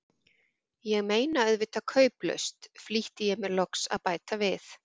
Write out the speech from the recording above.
Ég meina auðvitað kauplaust, flýtti ég mér loks að bæta við.